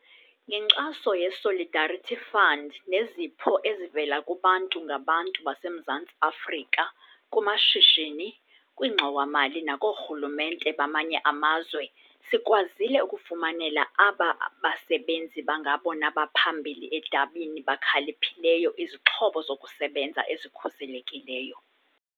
Ngenkxaso ye-Solidarity Fund nezipho ezivela kubantu ngabantu baseMzantsi Afrika, kumashishini, kwiingxowa-mali nakoorhulumente bamanye amazwe, sikwazile ukufumanela aba basebenzi bangabona baphambili edabini bakhaliphileyo izixhobo zokusebenza ezikhuselekileyo.